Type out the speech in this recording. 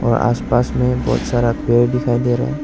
आस पास में बहुत सारा पेड़ दिखाई दे रहा--